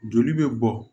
Joli bɛ bɔ